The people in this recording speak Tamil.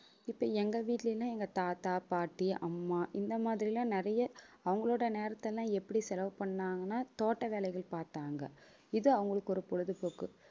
இப்ப எங்க வீட்டுலலாம் எங்க தாத்தா பாட்டி அம்மா இந்த மாதிரி எல்லாம் நிறைய அவங்களோட நேரத்தை எல்லாம் எப்படி செலவு பண்ணாங்கன்னா தோட்ட வேலைகள் பார்த்தாங்க இது அவங்களுக்கு ஒரு பொழுதுபோக்கு